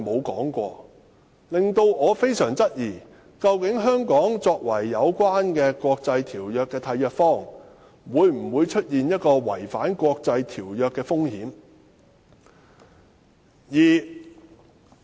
這令我非常質疑香港作為有關國際條約的締約方，是否存在違反國際條約的風險。